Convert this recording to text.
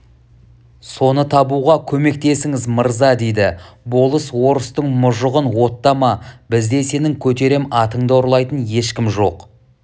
соны табуға көмектесіңіз мырза дейді болыс орыстың мұжығын оттама бізде сенің көтерем атынды ұрлайтын ешкім жоқ